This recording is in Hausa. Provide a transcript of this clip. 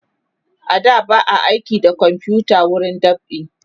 a da ba a aiki da komfuta wurin dab'i